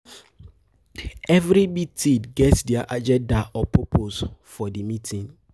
Every meeting get their agenda or purpose for di meeting